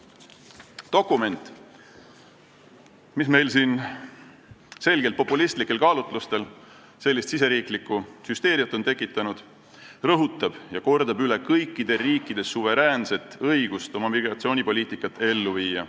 Dokument, mis meil on selgelt populistlikel kaalutlustel riigisisest hüsteeriat tekitanud, rõhutab ja kordab üle kõikide riikide suveräänset õigust oma migratsioonipoliitikat ellu viia.